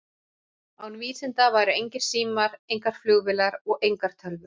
Án vísinda væru engir símar, engar flugvélar og engar tölvur.